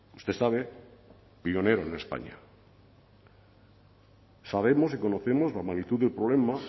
usted sabe pionero en españa sabemos y conocemos la magnitud del problema